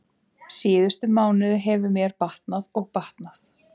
Síðustu mánuði hefur mér batnað og batnað.